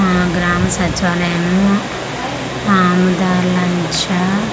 మన గ్రామ సచివాలయము .